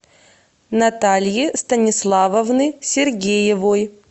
натальи станиславовны сергеевой